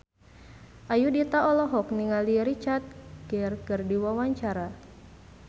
Ayudhita olohok ningali Richard Gere keur diwawancara